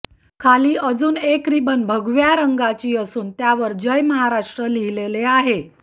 खाली अजून एक रिबन भगव्या रंगाची असून त्यावर जय महाराष्ट्र लिहिलेले आहे